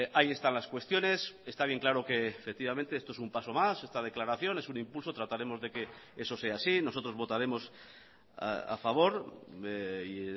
ahí están las cuestiones está bien claro que efectivamente esto es un paso más esta declaración es un impulso trataremos de que eso sea así nosotros votaremos a favor y